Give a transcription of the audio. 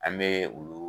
An bɛ olu